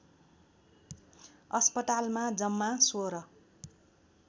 अस्पतालमा जम्मा १६